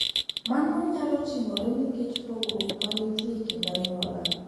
Mano nyalo timore nikech pogruok ma nitie e kind anyuola.